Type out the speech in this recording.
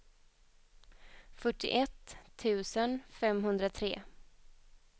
fyrtioett tusen femhundratre